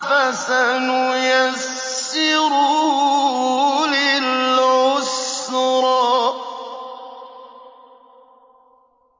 فَسَنُيَسِّرُهُ لِلْعُسْرَىٰ